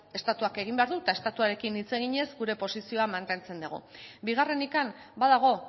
estatuak egin behar du eta estatuarekin hitz eginez gure posizioa mantentzen dugu bigarrenik badago